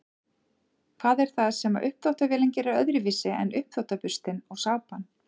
hvað er það sem uppþvottavélin gerir öðruvísi en uppþvottaburstinn og sápan